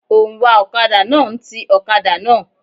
Òǹwà ọ̀kadà náà ń ti ọ̀kadà náà.